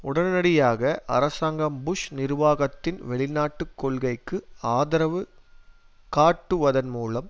உடனடியாக அரசாங்கம் புஷ் நிர்வாகத்தின் வெளிநாட்டு கொள்கைக்கு ஆதரவு காட்டுவதன்மூலம்